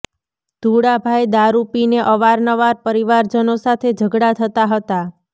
ધુળાભાઈ દારૂ પીને અવાર નવાર પરિવાજનો સાથે ઝગડા થતા હતા